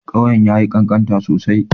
Ƙauyen ya yi ƙanƙanta sosai.